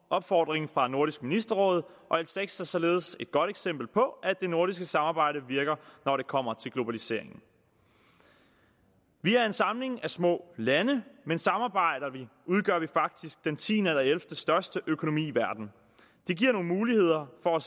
opfordring fra nordisk ministerråd og l seks er således et godt eksempel på at det nordiske samarbejde virker når det kommer til globalisering vi er en samling af små lande men samarbejder vi udgør vi faktisk den tiende eller ellevtestørste økonomi i verden det giver nogle muligheder for